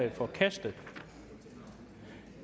er forkastet